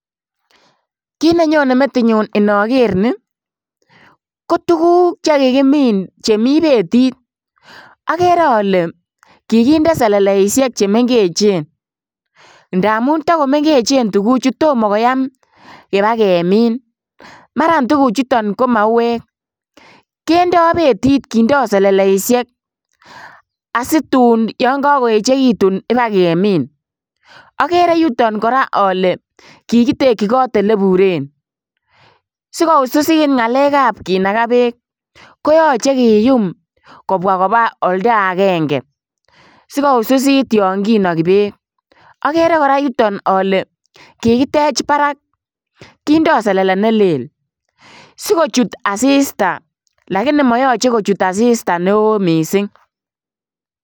Kit nenyone metinyu inoker nii koruguk chekikimin chemi betit, okere ole kikinde seleleisiek chemengechen ndamun tokomengechen tuguchuton tomo koyaam kibaa kemin, maran tuguchuton ko mauek kindo betit kindo seleleisiek asitun yon kokoechekitun ibaa kemin, okere yuton koraa ole kikitekchi kot eleburen sikoususit ngalekab kinakaa beek koyoche kiyum kobwaa kobaa oldaenge sikoususit yon kinoki beek, okere yuton koraa oke kikitech barak kindo selele nelel sikochut asista lakini moyoche kochut asista neo missing'.